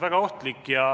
Väga ohtlik.